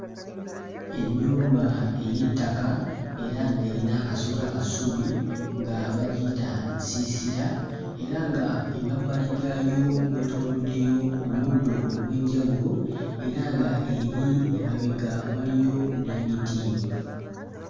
Ennyumba ey'ettaka era ng'eyina akasolya ka ssubi nga bagiyita nsiisira era nga emabbali gaayo weetooloddeyo omuddo ogw'enjawulo era nga eri emabega waliyo n'emiti.